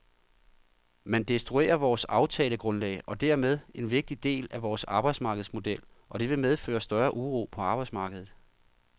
Man destruerer vores aftalegrundlag og dermed en vigtig del af vores arbejdsmarkedsmodel, og det vil medføre større uro på arbejdsmarkedet.